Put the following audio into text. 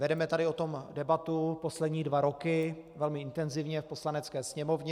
Vedeme tady o tom debatu poslední dva roky velmi intenzivně v Poslanecké sněmovně.